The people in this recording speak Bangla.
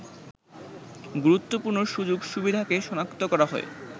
গুরুত্বপূর্ণ সুযোগ সুবিধাকে সনাক্ত করা হয়